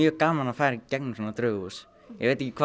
gaman að fara í gegnum svona draugahús ég veit ekki hvað